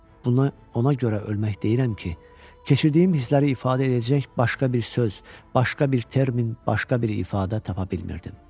Buna ona görə ölmək deyirəm ki, keçirdiyim hissləri ifadə edəcək başqa bir söz, başqa bir termin, başqa bir ifadə tapa bilmirdim.